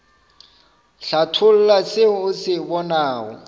hlatholla se o se bonago